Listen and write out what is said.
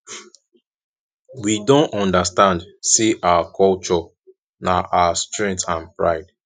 we don understand say our culture na our strength and pride